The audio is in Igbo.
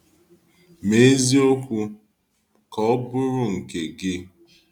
Mee eziokwu ka ọ bụrụ nke gị.